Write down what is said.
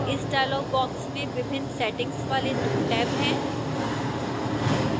इस dialog box में विभिन्न settings वाले 2 टैब हैं